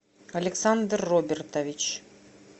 александр робертович